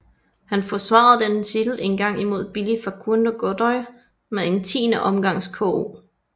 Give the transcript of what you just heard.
Han forsvarede denne titel en gang imod Billi Facundo Godoy med en tiende omgangs KO